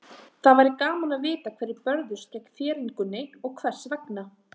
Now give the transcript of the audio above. Það væri gaman að vita hverjir börðust gegn þéringunni og hvers vegna.